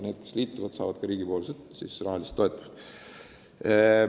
Need, kes liituvad, saavad ka riigilt rahalist toetust.